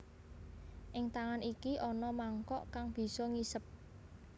Ing tangan iki ana mangkok kang bisa ngisep